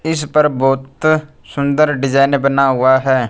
इस पर बहोत सुंदर डिजाइन बना हुआ है।